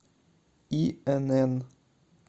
инн